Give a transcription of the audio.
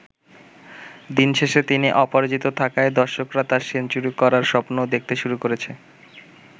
দিন শেষে তিনি অপরাজিত থাকায় দর্শকরা তার সেঞ্চুরি করার স্বপ্নও দেখতে শুরু করেছে।